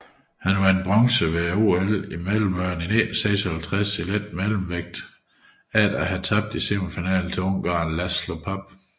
Han vandt bronzemedalje ved OL i Melbourne 1956 i letmellemvægt efter at have tabt i semifinalen til ungareren László Papp